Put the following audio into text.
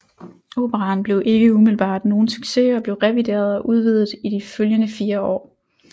Operaen blev ikke umiddelbart nogen succes og blev revideret og udvidet i de følgende fire år